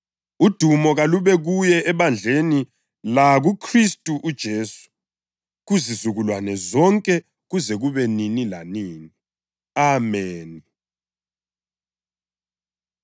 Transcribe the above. udumo kalube kuye ebandleni lakuKhristu uJesu kuzizukulwane zonke kuze kube nini lanini! Ameni.